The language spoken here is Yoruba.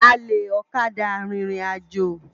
Álé òkâdá ririnájô